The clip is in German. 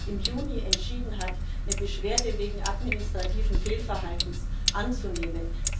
im Juni entschieden hat, eine Beschwerde wegen administrativen Fehlverhaltens anzunehmen.